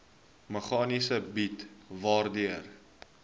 meganisme bied waardeur